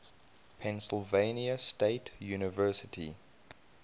pennsylvania state university